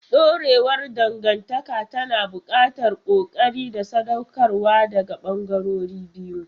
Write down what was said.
Dorewar dangantaka tana buƙatar ƙoƙari da sadaukarwa daga ɓangarorin biyu.